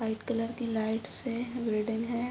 White colour की लाइट्स हैग्रिडेन है।